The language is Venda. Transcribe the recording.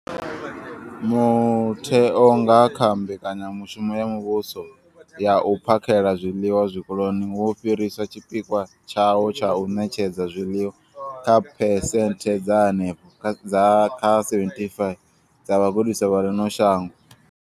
Mutheo, nga kha mbekanyamushumo ya muvhuso ya u phakhela zwiḽiwa zwikoloni, wo fhirisa tshipikwa tshawo tsha u ṋetshedza zwiḽiwa kha phesenthe dza henefha kha 75 dza vhagudiswa vha ḽino shango.